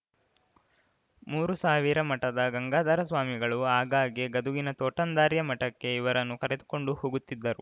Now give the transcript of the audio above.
ಮೂರುಸಾವಿರ ಮಠದ ಗಂಗಾಧರ ಸ್ವಾಮಿಗಳು ಆಗಾಗ್ಗೆ ಗದುಗಿನ ತೋಂಟದಾರ್ಯ ಮಠಕ್ಕೆ ಇವರನ್ನು ಕರೆದುಕೊಂಡು ಹೋಗುತ್ತಿದ್ದರು